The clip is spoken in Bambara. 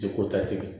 Te ko ta tigɛ